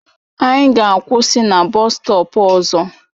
Anyị ga-akwụsị na bọstọp ọzọ.